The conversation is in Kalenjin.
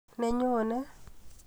Nenyone.